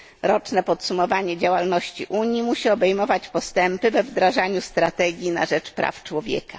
Roczne podsumowanie działalności Unii musi obejmować postępy we wdrażaniu strategii na rzecz praw człowieka.